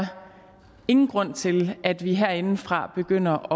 ingen grund til at vi herindefra begynder